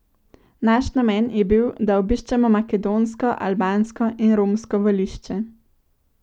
Naš namen je bil, da obiščemo makedonsko, albansko in romsko volišče.